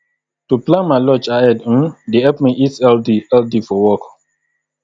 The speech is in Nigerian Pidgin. to plan my lunch ahead um dey help me eat healthy healthy for work